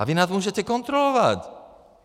A vy nás můžete kontrolovat.